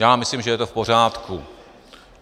Já myslím, že je to v pořádku.